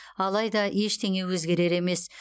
алайда ештеңе өзгерер емес